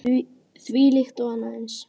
Þvílíkt og annað eins.